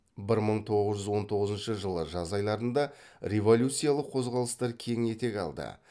бір мың тоғыз жүз он тоғызыншы жылы жаз айларында революциялық қозғалыстар кең етек алды